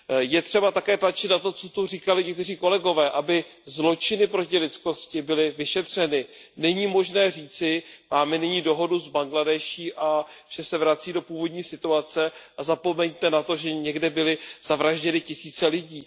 Je třeba také tlačit na to, co tu říkali někteří kolegové, aby zločiny proti lidskosti byly vyšetřeny. Není možné říci, máme nyní dohodu s Bangladéšem a vše se vrací do původní situace a zapomeňte na to, že někde byly zavražděny tisíce lidí.